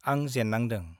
आं जेन्नांदों ।